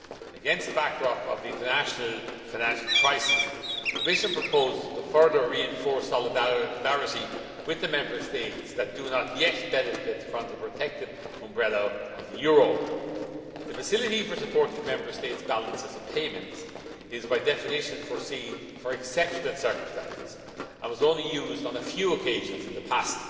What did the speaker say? Against the backdrop of the international financial crisis, the Commission proposes further reinforced solidarity with the Member States that do not yet benefit from the protective umbrella of the euro. The facility for supporting Member States' balances of payments is, by definition, foreseen for exceptional circumstances and was only used on a few occasions in the past.